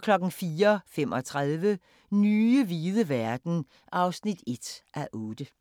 04:35: Nye hvide verden (1:8)